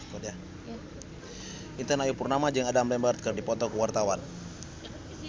Intan Ayu Purnama jeung Adam Lambert keur dipoto ku wartawan